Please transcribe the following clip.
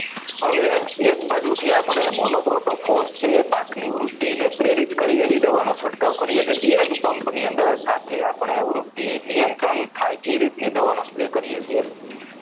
હવે એક બાજુથી આપણે monochroto frost છે એ પાકની બુદ્ધિ ને પ્રેરિત કરી એવી દવાનો છંટકાવ કરીએ છીએ એ જ pump ની અંદર સાથે આપણે વૃદ્ધિ નિયંત્રણ થાય એ રીતની દવાનો spray કરીએ છીએ